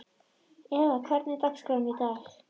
Eva, hvernig er dagskráin í dag?